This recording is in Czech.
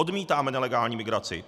Odmítáme nelegální migraci.